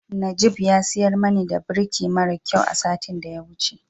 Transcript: Najib ya siyar mani da birki maran kyau a satin da ya wuce.